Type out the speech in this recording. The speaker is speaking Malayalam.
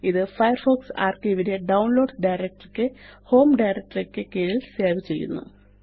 ഇത് ഫയർഫോക്സ് ആർക്കൈവ് നെ ഡൌൺലോഡ്സ് ഡയറക്ടറി യ്ക്ക് ഹോം ഡയറക്ടറി യ്ക്ക് കീഴില് സേവ് ചെയ്യുന്നു